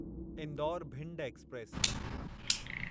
Indore Bhind express